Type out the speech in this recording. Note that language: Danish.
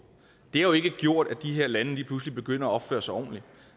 det har jo ikke gjort at de her lande lige pludselig begynder at opføre sig ordentligt